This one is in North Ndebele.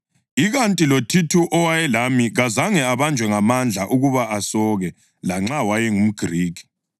Ikanti loThithu owayelami kazange abanjwe ngamandla ukuba asoke lanxa wayengumGrikhi.